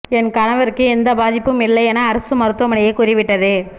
என் கணவருக்கும் எந்த பாதிப்பும் இல்லை என அரசு மருத்துவமனையே கூறிவிட்டது